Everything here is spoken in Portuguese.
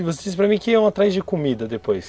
E você disse para mim que iam atrás de comida depois.